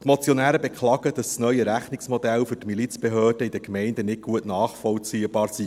Die Motionäre beklagen, dass das neue Rechnungsmodell für die Milizbehörden in den Gemeinden nicht gut nachvollziehbar sei.